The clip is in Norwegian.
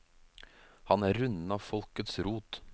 Han er runnen av folkets rot.